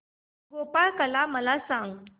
गोपाळकाला मला सांग